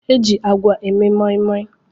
E ji àgwà eme moi moi.